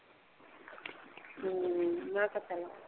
ਹਮ